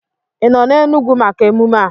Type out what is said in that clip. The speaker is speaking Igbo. Ị nọ n'Enugwu maka emume a?